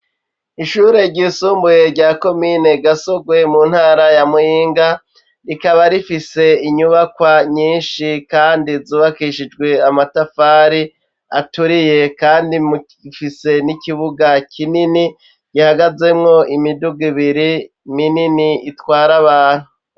Ishure ryisumbuye rya komine Gasugwe mu ntara ya Muyinga, rikaba rifise inyubakwa nyinshi kandi zubakishijwe amatafari aturiye, kandi ifise n'ikibuga kinini gihagazemwo imiduga ibiri minini, itwara abantu.